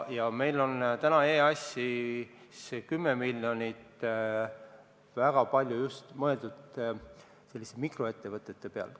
Ja meil on täna EAS-is 10 miljonit, mille puhul on väga palju mõeldud just selliste mikroettevõtete peale.